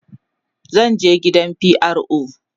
zan je gidan DPO